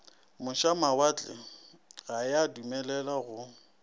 mošamawatle ga ya dumelelwa go